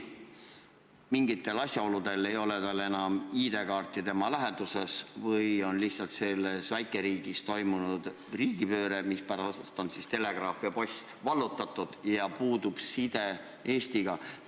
Mingitel asjaoludel ei ole tal ID-kaarti läheduses või on lihtsalt selles väikeriigis toimunud riigipööre ja telegraaf ja post vallutatud ja puudub side Eestiga.